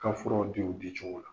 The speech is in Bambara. Ka furaw di o di cogo la.